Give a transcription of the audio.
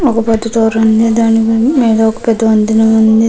ఒక పెద్ధ డోర్ ఉంది. దాని మీద ఒక వంతెన ఉంది.